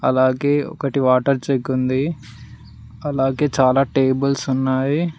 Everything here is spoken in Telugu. అలాగే ఒకటి వాటర్ జెగ్ ఉంది అలాగే చాలా టేబుల్స్ ఉన్నావి.